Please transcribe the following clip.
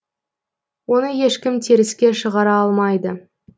оны ешкім теріске шығара алмайды